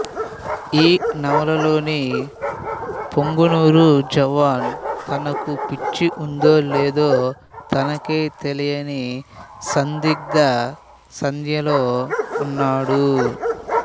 ఈ నవలలోని పుంగనూరు జవాను తనకు పిచ్చి ఉందో లేదో తనకే తెలియని సందిగ్ధ సంధ్యలో ఉన్నవాడు